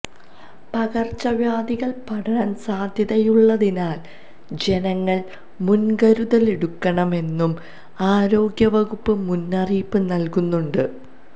പകര്ച്ചവ്യാധികള് പടരാന് സാധ്യതയുള്ളതിനാല് ജനങ്ങള് മുന്കരുതലെടുക്കണമെന്നും ആരോഗ്യവകുപ്പ് മുന്നറിയിപ്പ് നല്കുന്നുണ്ട്